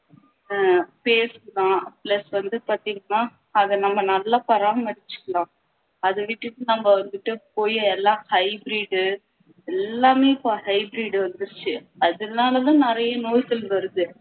ஹம் பேருக்குதான் plus வந்து பாத்திங்கண்ணா அதை நம்ம நல்லா பாராமரிச்சுக்கணும் அதை விட்டுட்டு நம்ம வந்துட்டு போய் எல்லாம் hybrid எல்லாமே இப்போ hybrid வந்திடுச்சு அதனாலதான் நிறைய நோய்கள் வருது